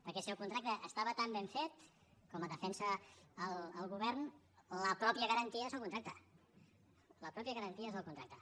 perquè si el contracte estava tan ben fet com defensa el govern la mateixa garantia és el contracte la mateixa garantia és el contracte